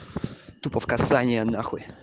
тупо в казани